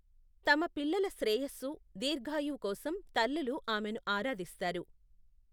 తమ పిల్లల శ్రేయస్సు, దీర్ఘాయువు కోసం తల్లులు ఆమెను ఆరాధిస్తారు.